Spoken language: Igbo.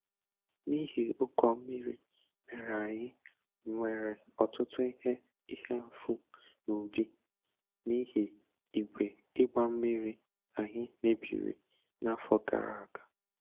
N'ihi ụkọ mmiri mere anyị nwere ọtụtụ ihe ihe mfu n'ubi n'ihi igwe ịgba mmiri anyị mebiri n'afọ gara aga